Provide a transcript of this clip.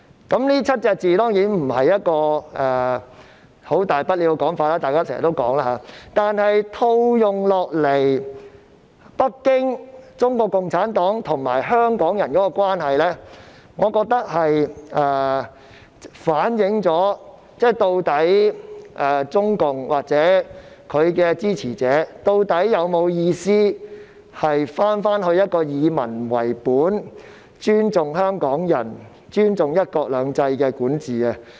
當然，這7個字沒有甚麼大不了，大家經常都會說，但如果把它套用在北京、中國共產黨及香港人的關係上，我認為這便反映出中共或其支持者，究竟有否打算重回以民為本、尊重香港人及尊重"一國兩制"的管治。